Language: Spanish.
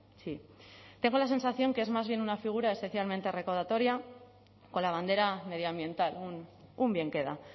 sí tengo la sensación que es más bien una figura especialmente recaudatoria con la bandera medioambiental un bienqueda